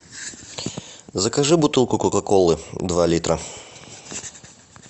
закажи бутылку кока колы два литра